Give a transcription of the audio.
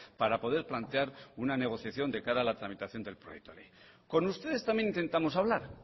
para poder plantear una negociación de cara a la tramitación del proyecto de ley con ustedes también intentamos hablar